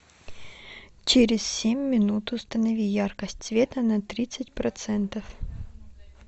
через семь минут установи яркость света на тридцать процентов